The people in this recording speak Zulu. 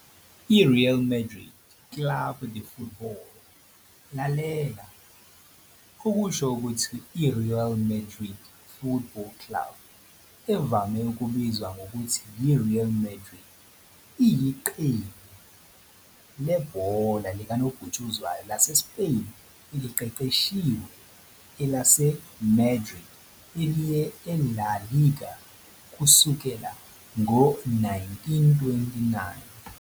I-Real Madrid Club de Futbol, lalela, okusho ukuthi i-Royal Madrid Football Club, evame ukubizwa ngokuthi yi-Real Madrid, "iyiqembu" lebhola likanobhutshuzwayo laseSpain eliqeqeshiwe eliseMadrid eliye e-La Liga kusukela ngo-1929.